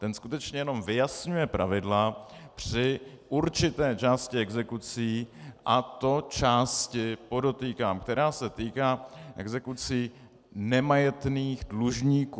Ten skutečně jenom vyjasňuje pravidla při určité části exekucí, a to části, podotýkám, která se týká exekucí nemajetných dlužníků.